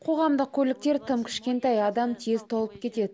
қоғамдық көліктер тым кішкентай адам тез толып кетеді